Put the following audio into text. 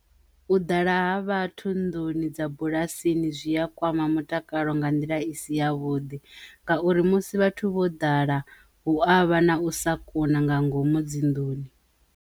U ḓala ha vhathu nḓuni dza bulasini zwi a kwama mutakalo nga nḓila isi ya vhuḓi ngauri musi vhathu vho ḓala hu avha na u sa kona nga ngomu dzinḓuni.